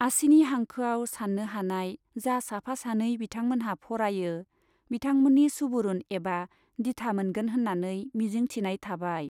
आसिनि हांखोआव साननो हानाय जा साफा सानै बिथांमोनहा फरायो, बिथांमोननि सुबुरुन एबा दिथा मोनगोन होन्नानै मिजिं थिनाय थाबाय